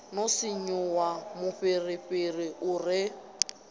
no sinvuwa mufhirifhiri u re